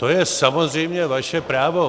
To je samozřejmě vaše právo.